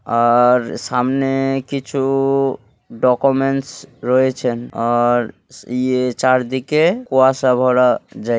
আআর সামনেএ কিছু ডকুমেন্টস রয়েছেন আর ইয়ে চারদিকে কুয়াশা ভরা যায়--